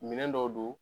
Minɛn dɔw don